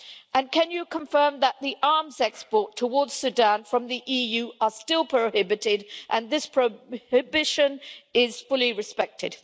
And can you confirm that the arms exports towards Sudan from the EU are still prohibited and this prohibition is fully respected?